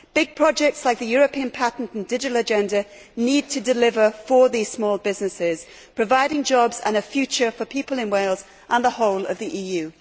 Big projects like the European patent and the Digital Agenda need to deliver for these small businesses, providing jobs and a future for people in Wales and the whole of the EU.